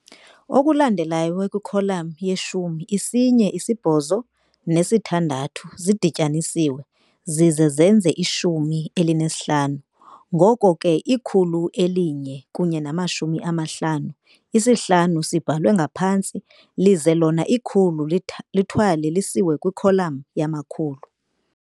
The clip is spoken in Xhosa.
Okulandelayo kwikholam yeshumi isi-1, isi-8 nesi-6 zidityanisiwe zize zenze ishumi i-15, ngoko ke ikhulu esli-1 kunye namashumi ama-5, isi-5 sibhalwe ngaphantsi, lize lona ikhulu lithwalwe lisiwe kwikholam yamakhulu.